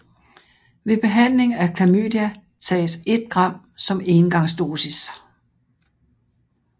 Ved behandling af klamydia tages 1 gram som engangsdosis